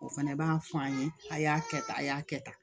O fana b'a fɔ an ye a y'a kɛ tan a y'a kɛ tan